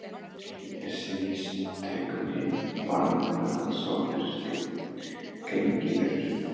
Mér sýnist drengurinn bara vera svo fyrirgengilegur.